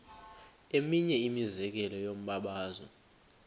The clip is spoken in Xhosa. eminye imizekelo yombabazo